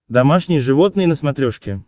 домашние животные на смотрешке